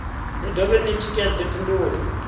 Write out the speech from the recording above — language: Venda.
ni dovhe ni tikedze phindulo